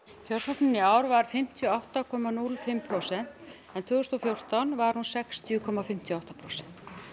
kjörsóknin í ár var fimmtíu og átta komma núll fimm prósent en tvö þúsund og fjórtán var hún sextíu komma fimmtíu og átta prósent